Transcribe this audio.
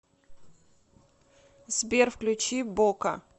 сбер включи бока